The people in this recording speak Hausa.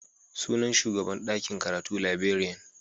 Sunan shugan dakin karatu Librarian.